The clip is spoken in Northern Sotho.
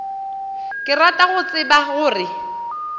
ke rata go tseba gore